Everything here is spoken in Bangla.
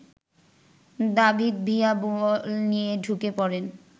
দাভিদ ভিয়া বল নিয়ে ঢুকে পড়েন